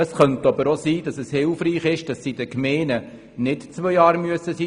Es könnte aber hilfreich sein, dass die Dauer in den Gemeinden nicht zwei Jahre betragen muss.